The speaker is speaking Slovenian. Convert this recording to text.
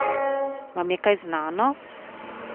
Vam je to kaj znano?